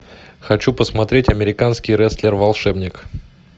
хочу посмотреть американский рестлер волшебник